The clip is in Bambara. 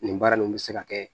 Nin baara nin bɛ se ka kɛ